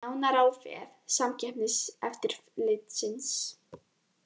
Nánar á vef Samkeppniseftirlitsins